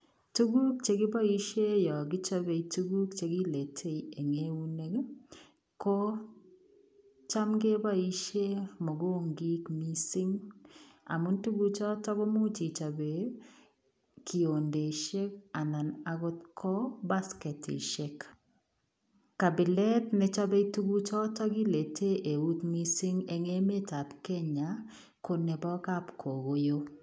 Tuguuk che kibaisheen yaan kichape tuguuk che kiletei eng eunek ii ko chaam kebaisheen mugungiik missing amuun tuguuk chotoon komuuch kechapeen kiondesheek anan akoot ko basketisheek kapilet ne chapee tuguuk chotoon kileten eut missing en emet ab Kenya ko nebo kapkokoyoo.